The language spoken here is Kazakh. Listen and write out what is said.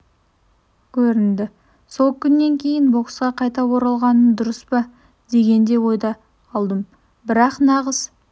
көрінді сол күннен кейін боксқа қайта оралғаным дұрыс па деген де ойда қалдым бірақ нағыз